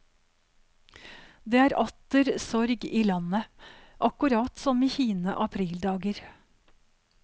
Det er atter sorg i landet, akkurat som i hine aprildager.